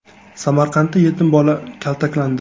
Samarqandda yetim bola kaltaklandi .